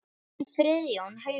Þinn Friðjón Haukur.